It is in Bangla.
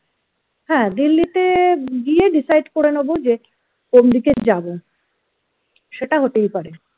হ্যা delhi তে গিয়ে decide করে নেবো যে কোন দিকে যাব সেটা হতেই পারে